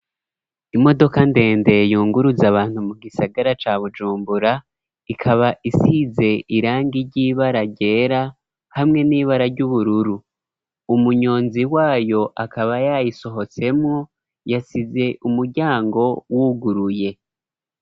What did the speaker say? Imodoka ndende yunguruzA abantu mu gisagara ca bujumbura, ikaba isize irangi iry'ibara ryera ,hamwe n'ibara ry'ubururu ,umunyonzi wayo akaba yayisohotsemwo, yasize umuryango wuguruye.